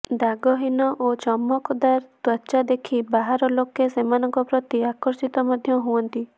ଦାଗହୀନ ଓ ଚମକଦାର ତ୍ୱଚା ଦେଖି ବାହାର ଲୋକେ ସେମାନଙ୍କ ପ୍ରତି ଆକର୍ଷିତ ମଧ୍ୟ ହୁଅନ୍ତି